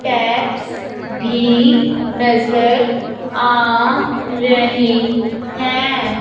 Tabs भी नजर आ रहे हैं।